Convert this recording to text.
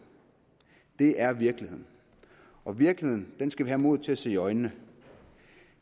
det er virkeligheden og virkeligheden skal vi have mod til at se i øjnene